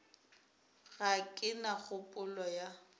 ga ke na kgopolo ya